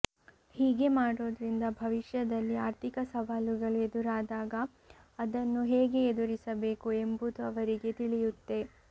ಹೀಗೆ ಮಾಡೋದ್ರಿಂದ ಭವಿಷ್ಯದಲ್ಲಿ ಆರ್ಥಿಕ ಸವಾಲುಗಳು ಎದುರಾದಾಗ ಅದನ್ನು ಹೇಗೆ ಎದುರಿಸಬೇಕು ಎಂಬುದು ಅವರಿಗೆ ತಿಳಿಯುತ್ತೆ